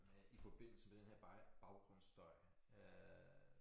Øh i forbindelse med den her baggrundsstøj øh